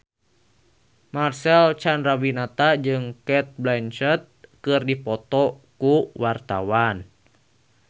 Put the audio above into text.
Marcel Chandrawinata jeung Cate Blanchett keur dipoto ku wartawan